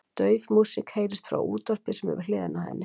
Dauf músík heyrist frá útvarpi sem er við hliðina á henni.